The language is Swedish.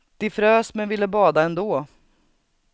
De frös men ville bada ändå.